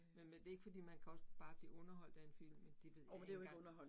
Men men det ikke fordi, man kan også bare blive underholdt af en film, men det ved jeg ikke engang